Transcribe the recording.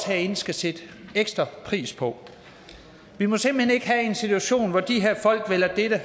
herinde skal sætte ekstra pris på vi må simpelt hen ikke have en situation hvor de her folk vælger dette